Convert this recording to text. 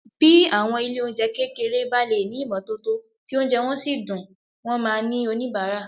Bí àwọn ilé-oúnjẹ kékeré bá lè ní ìmọ́tótó tí oúnjẹ wọn sì dùn, wọn máa ní oníbàárà